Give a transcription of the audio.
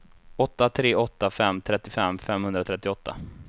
åtta tre åtta fem trettiofem femhundratrettioåtta